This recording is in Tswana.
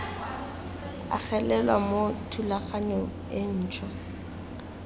agelelwa mo thulaganyong e ntšhwa